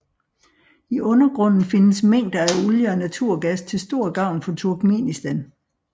I undergrunden findes mængder af olie og naturgas til stor gavn for Turkmenistan